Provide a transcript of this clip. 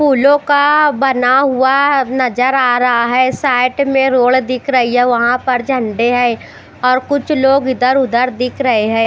फुलओ का बना हुआ नज़र आ रहा है साइड में रोड दिख रई है वहा पर झंडे है और कुछ लोग इधर उधर दिख रहे है।